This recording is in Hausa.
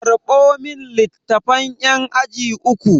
Karɓo min littafan ƴan aji uku!